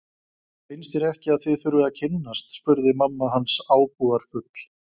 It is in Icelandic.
Finnst þér ekki að þið þurfið að kynnast spurði mamma hans ábúðarfull.